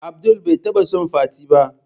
Abdul bai taba son fati ba.